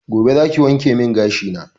Gobe zaki wankemin gashi na